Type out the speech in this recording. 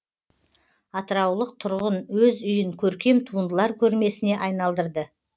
атыраулық тұрғын өз үйін көркем туындылар көрмесіне айналдырды